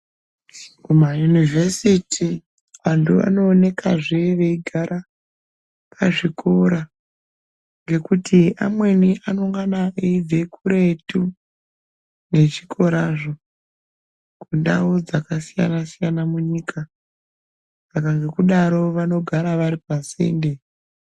Muma Yunivesiti antu anoonekazve veigara pazvikora, ngekuti amweni anongana eibve kuretu nezvikorazvo, kundau dzakasiyana siyana munyika. Saka ngekudaro vanogara vari pasinde.